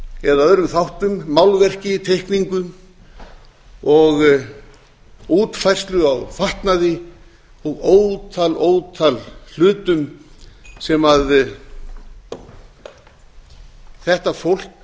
eða öðrum þáttum málverki teikningu og útfærslu á fatnaði og ótal ótal hlutum sem þetta fólk